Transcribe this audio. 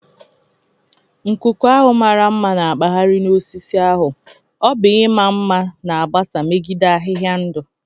Nkụku ahụ mara mma na-akpagharị na osisi ahu,o bu ima nma na agbasa megide ahịhịa ndụ.